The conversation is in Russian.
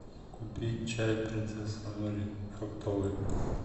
купить чай принцесса нури фруктовый